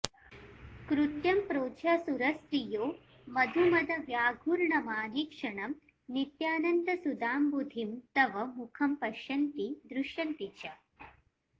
कृत्यं प्रोज्झ्य सुरस्त्रियो मधुमदव्याघूर्णमानेक्षणं नित्यानन्दसुधाम्बुधिं तव मुखं पश्यन्ति दृश्यन्ति च